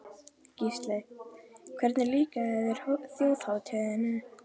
Gísli: Hvernig líkaði þér Þjóðhátíðin?